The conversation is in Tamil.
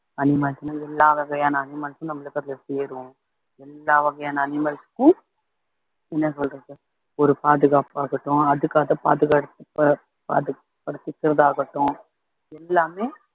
animals ன்னா எல்லா வகையான animals ம் நம்மளுக்கு சேறும் எல்லா வகையான animals க்கும் என்ன சொல்றது ஒரு பாதுகாப்பு ஆகட்டும் அதுக்காக பாதுகாப்பு ஆகட்டும் எல்லாமே